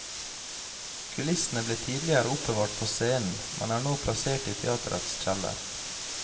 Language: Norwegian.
Kulissene ble tidligere oppbevart på scenen, men er nå plassert i teatrets kjeller.